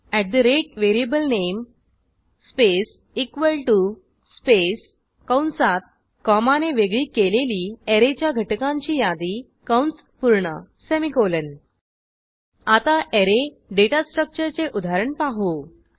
अट ठे राते variable name space equal to space कंसात कॉमाने वेगळी केलेली ऍरेच्या घटकांची यादी कंस पूर्ण सेमिकोलॉन आता ऍरे डेटा स्ट्रक्चरचे उदाहरण पाहू